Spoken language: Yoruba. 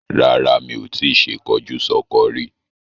Rara, mi o ti ṣe kọjúsọ́kọ rí.